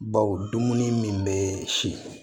Baw dumuni min bɛ si